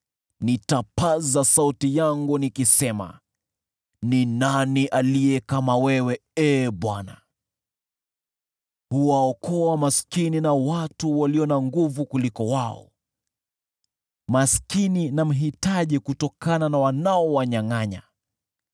Nitapaza sauti yangu nikisema, “Ni nani aliye kama wewe, Ee Bwana ? Wewe huwaokoa maskini kutokana na wale walio na nguvu kuliko wao, maskini na mhitaji kutokana na wanaowanyangʼanya!”